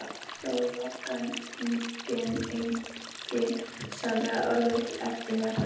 Sól, logn og enginn sagði orð eftir þetta.